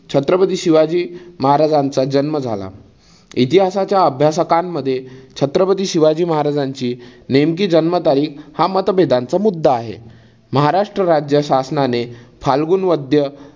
छत्रपती शिवाजी महाराजांचा जन्म झाला. इतिहासाच्या अभ्यासकानमध्ये छत्रपती शिवाजी महाराजांची नेमकी जन्म तारीख हा मतभेदांचा मुद्दा आहे. महाराष्ट्र राज्य शासनाने फाल्गुन वद्य